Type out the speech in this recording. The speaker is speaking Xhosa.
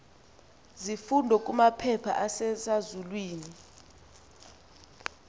zifundo kumaphepha asesazulwini